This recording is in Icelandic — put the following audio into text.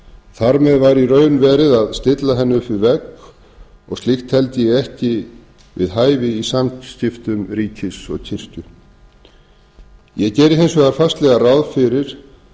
þar með væri í raun verið að stilla henni upp við vegg og slíkt teldi ég ekki við hæfi í samskiptum ríkis og kirkju ég geri hins vegar fastlega ráð fyrir